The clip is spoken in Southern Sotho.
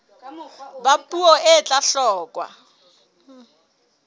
ba puo e tla hloka